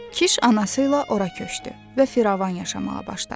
Kiş anası ilə ora köçdü və firavan yaşamağa başladı.